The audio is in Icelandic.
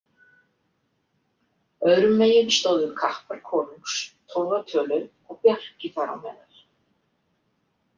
Öðrum megin stóðu kappar konungs, tólf að tölu og Bjarki þar á meðal.